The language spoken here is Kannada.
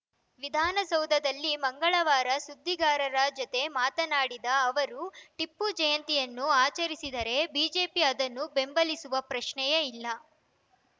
ವಿಧಾನಸೌಧದಲ್ಲಿ ಮಂಗಳವಾರ ಸುದ್ದಿಗಾರರ ಜತೆ ಮಾತನಾಡಿದ ಅವರು ಟಿಪ್ಪು ಜಯಂತಿಯನ್ನು ಆಚರಿಸಿದರೆ ಬಿಜೆಪಿ ಅದನ್ನು ಬೆಂಬಲಿಸುವ ಪ್ರಶ್ನೆಯೇ ಇಲ್ಲ